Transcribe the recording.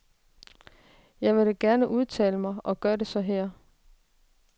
Jeg vil da gerne udtale mig og gør det så her.